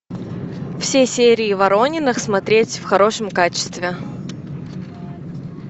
все серии ворониных смотреть в хорошем качестве